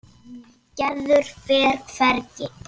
Gerður fer hvergi.